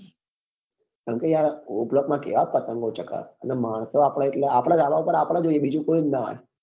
કેમ કે યાર o block માં યાર કેવ પતંગ ઓ ચગે અને માણસો એટલે આપડા ધાબા પર આપડે જ હોઈએ બીજું કોઈ જ નાં હોય